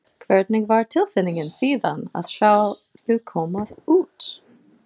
Hvernig var tilfinningin síðan að sjá þau koma út?